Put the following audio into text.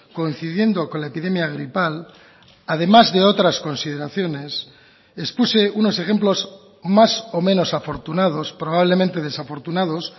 coincidiendo con la epidemia gripal además de otras consideraciones expuse unos ejemplos más o menos afortunados probablemente desafortunados